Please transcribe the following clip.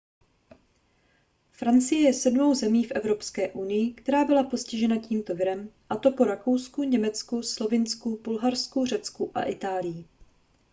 francie je sedmou zemí v evropské unii která byla postižena tímto virem a to po rakousku německu slovinsku bulharsku řecku a itálii